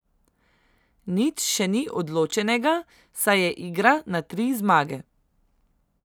Nič še ni odločenega, saj se igra na tri zmage.